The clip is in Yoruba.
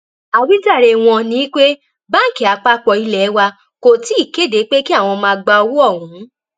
àwíjàre wọn ni pé báńkì àpapọ ilé wa kò tí ì kéde pé kí àwọn máa gba owó ọhún